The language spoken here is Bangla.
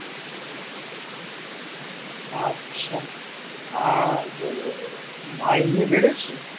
আচ্ছা আর মাইনে বেড়েছে